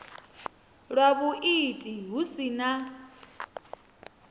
lwa vhuiiti hu si na